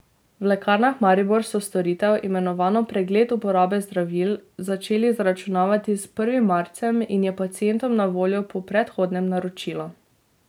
V Lekarnah Maribor so storitev, imenovano Pregled uporabe zdravil, začeli zaračunavati s prvim marcem in je pacientom na voljo po predhodnem naročilu.